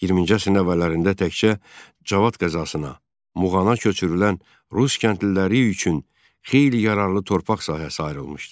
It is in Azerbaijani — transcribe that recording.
20-ci əsrin əvvəllərində təkcə Cavad qəzasına, Muğana köçürülən rus kəndliləri üçün xeyli yararlı torpaq sahəsi ayrılmışdı.